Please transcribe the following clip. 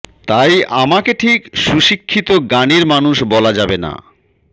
তাই আমাকে ঠিক সুশিক্ষিত গানের মানুষ বলা যাবে না